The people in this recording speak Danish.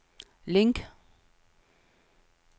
link